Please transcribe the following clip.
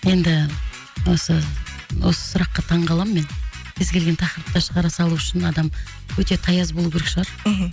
енді осы осы сұраққа таң қаламын мен кез келген тақырыпта шығара салу үшін адам өте таяз болу керек шығар мхм